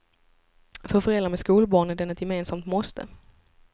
För föräldrar med skolbarn är den ett gemensamt måste.